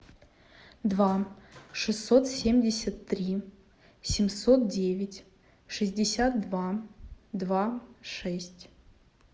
два шестьсот семьдесят три семьсот девять шестьдесят два два шесть